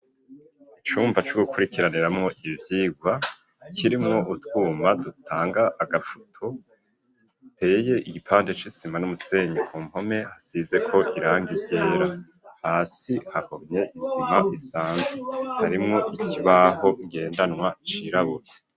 Icumba co gukurikiraniramo ibicyigwa kirimwo utwuma dutanga agafoto giteye igipande c'isima n'umusenyi ku mpome hasize ko iranga ryera hasi hahomye isima isanze harimwo ikibaho gendanwa cirabura.